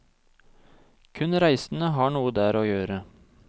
Kun reisende har noe der å gjøre.